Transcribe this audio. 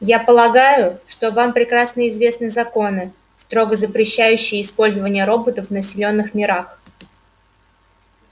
я полагаю что вам прекрасно известны законы строго запрещающие использование роботов в населённых мирах